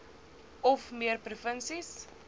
of meer provinsies